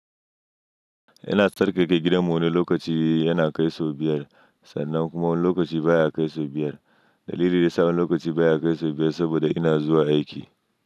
Yana tsarkake gidanmu wani lokaci yana kai sau biyar, sannan kuma wani lokaci baya kai sau biyar. Dalilin da sa wani lokaci baya kai sau biyar saboda ina zuwa aiki.